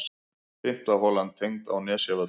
Fimmta holan tengd á Nesjavöllum.